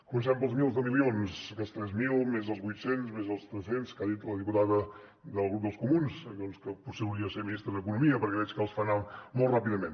comencem pels milers de milions aquests tres mil més els vuit cents més els tres cents que ha dit la diputada del grup dels comuns que potser hauria de ser ministre d’economia perquè veig que els fa anar molt ràpidament